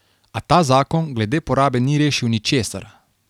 A ta zakon glede porabe ni rešil ničesar.